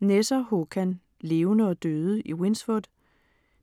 Nesser, Håkan: Levende og døde i Winsford